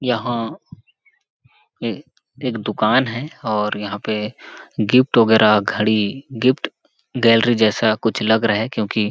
यहाँ ए एक दुकान है और यहाँ पर गिफ्ट वगैरह घड़ी गिफ्ट गैलरी जैसा कुछ लग रहा है क्योंकि --